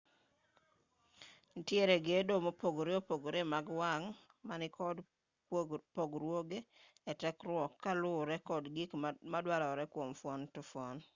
nitiere gedo mopogore opogore mag wang' ma nikod pogruoge e tekruok ka luwore kod gik maduarore kwom fuon ka fuon